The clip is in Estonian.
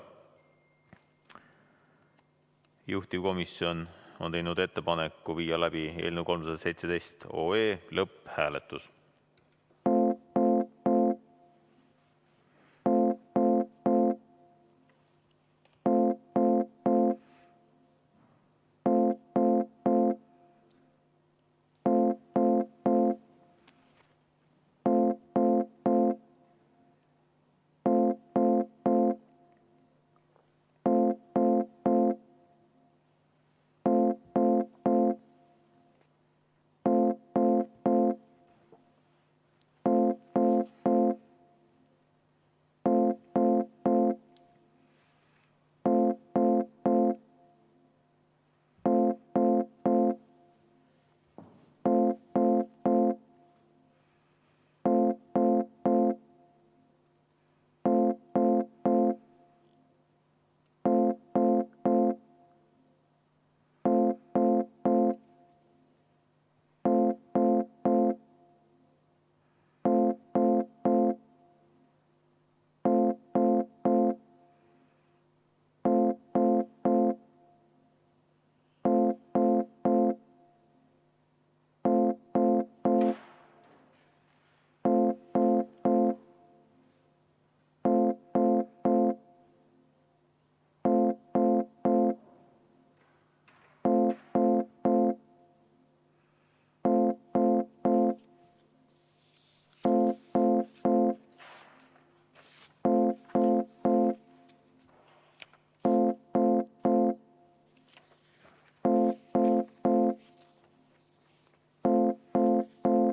Juhtivkomisjon on teinud ettepaneku viia läbi eelnõu 317 lõpphääletus.